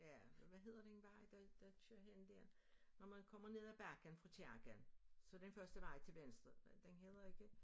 Ja hvad hedder den vej der der kører hen der når man kommer ned ad bakken fra kirken så den første vej til venstre den hedder ikke